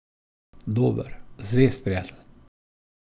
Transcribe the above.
Dober, zvest prijatelj.